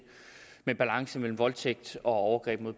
med balance mellem voldtægt og overgreb